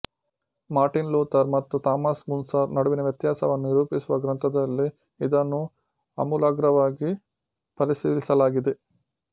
Martin Luther ಮತ್ತು Thomas Muntzer ನಡುವಿನ ವ್ಯತ್ಯಾಸವನ್ನು ನಿರೂಪಿಸುವ ಗ್ರಂಥದಲ್ಲಿ ಇದನ್ನು ಆಮೂಲಾಗ್ರವಾಗಿ ಪರಿಶೀಲಿಸಲಾಗಿದೆ